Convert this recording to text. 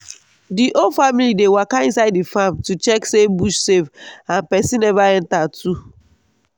the whole family dey waka inside the farm to check say bush safe and person never enter too.